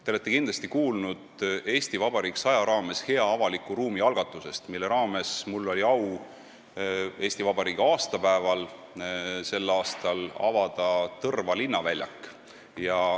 Te olete kindlasti kuulnud "Eesti Vabariik 100" raames hea avaliku ruumi algatusest, mille raames mul oli au meie riigi aastapäeval sel aastal avada Tõrva linnaväljak.